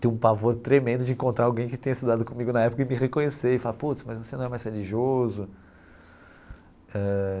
Tenho um pavor tremendo de encontrar alguém que tenha estudado comigo na época e me reconhecer e falar, putz, mas você não é mais religioso eh.